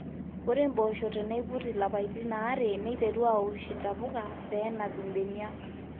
ore mpoosho teneiput ilapaitin aare neiterru aosh intapuka pee enap imbeniak